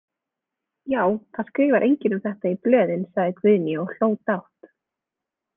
Já, það skrifar enginn um þetta í blöðin, sagði Guðný og hló dátt.